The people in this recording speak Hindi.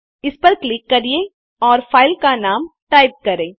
इस पर क्लिक करें और फाइल का नाम टाइप करें